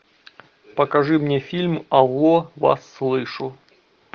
покажи мне фильм алло вас слышу